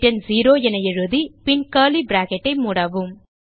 return 0 என எழுதி பின் கர்லி பிராக்கெட் ஐ மூடவும்